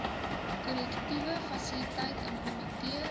korrektiewe fasiliteite implementeer